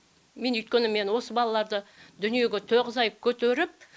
мен өйткені мен осы балаларды дүниеге тоғыз ай көтеріп